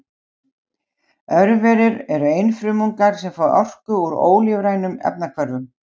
örverur eru einfrumungar sem fá orku úr ólífrænum efnahvörfum